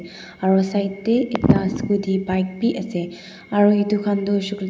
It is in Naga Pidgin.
aro side tae ekta scooty bike biase aro edu khan tu hoishey koilae.